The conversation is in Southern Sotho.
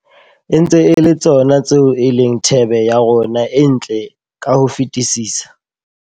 E ntse e le tsona tseo e leng thebe ya rona e ntle ka ho fetisisa.